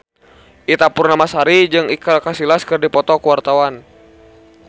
Ita Purnamasari jeung Iker Casillas keur dipoto ku wartawan